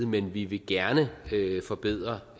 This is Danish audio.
men vi vil gerne forbedre